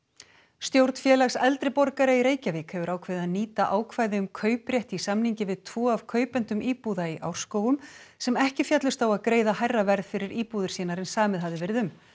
stjórn Félags eldri borgara í Reykjavík hefur ákveðið að nýta ákvæði um kauprétt í samningi við tvo af kaupendum íbúða í Árskógum sem ekki féllust á að greiða hærra verð fyrir íbúðir sínar en samið hafði verið um